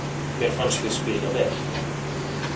Mér fannst við spila vel